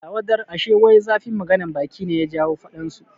Allah wadar, ashe wai zafin maganan baki ne ya jawo faɗan su